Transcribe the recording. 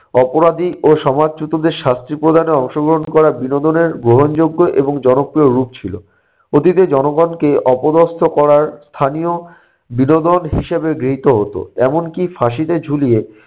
অপরাধী ও সমাজচ্যুতদের শাস্তি প্রদানে অংশগ্রহণ করা বিনোদনের গ্রহণযোগ্য এবং জনপ্রিয় রূপ ছিল। ওদিকে জনগণকে অপদস্ত করার স্থানীয় বিনোদন হিসেবে গৃহীত হতো। এমনকি ফাঁসিতে ঝুলিয়ে